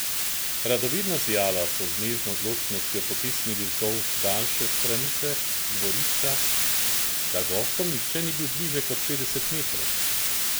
Radovedna zijala so z nežno odločnostjo potisnili vzdolž daljše stranice dvorišča, da gostom nihče ni bil bliže kot petdeset metrov.